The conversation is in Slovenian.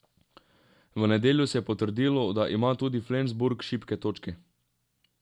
V nedeljo se je potrdilo, da ima tudi Flensburg šibke točke.